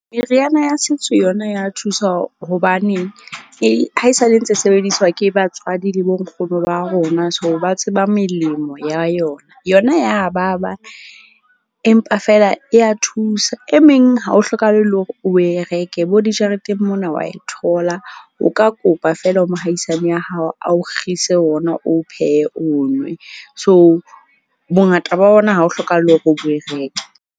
Meriana ya setso yona ya thusa. Hobaneng e haesale ntse sebediswa ke batswadi le bo nkgono ba rona. So, ba tseba melemo ya yona. Yona ya ba ba, empa fela ya thusa. E meng ha ho hlokahale le hore o e reke, bo dijareteng mona wa e thola. O ka kopa fela ho mohaisane ya hao a o kgise wona, o pheye o nwe. So, bongata ba ona ha ho hlokahale hore o e reke.